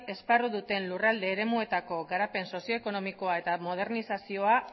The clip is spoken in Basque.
esparru duten lurralde eremuetako garapen sozio ekonomikoa eta modernizazioa